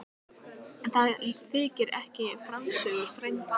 En það þykir ekki í frásögur færandi.